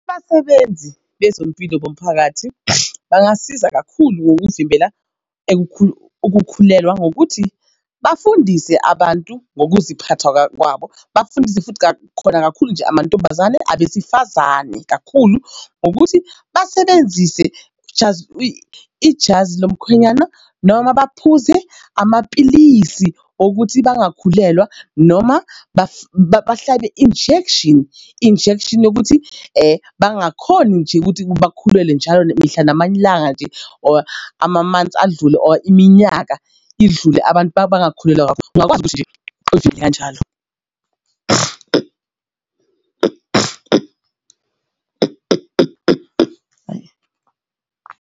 Abasebenzi bezempilo bomphakathi bangasiza kakhulu ngokuvimbela ukukhulelwa ngokuthi bafundise abantu ngokuziphatha kwabo. Bafundise futhi khona kakhulu nje amantombazane abesifazane kakhulu ngokuthi basebenzise ijazi ijazi lomkhwenyana noma baphuze amapilisi okuthi bangakhulelwa noma bahlabe injection injection yokuthi bangakhoni nje ukuthi bakhulelwe njalo mihla namalanga nje or ama-months adlule or iminyaka idlule abantu bangakhulelwa ungakwazi ukuthi nje uvikele kanjalo .